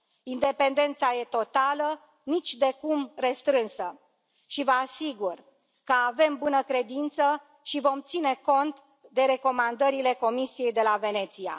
Independența este totală, nicidecum restrânsă și vă asigur că avem bună credință și vom ține cont de recomandările Comisiei de la Veneția.